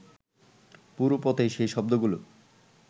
পুরো পথেই সেই শব্দগুলো